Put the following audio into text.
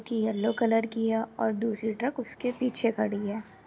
की yellow colour की है और दूसरी ट्रक उसके पीछे खड़ी है।